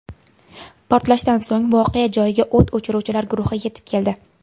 Portlashdan so‘ng voqea joyiga o‘t o‘chiruvchilar guruhi yetib keldi.